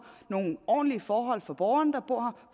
nogle ordentlige forhold for borgerne der bor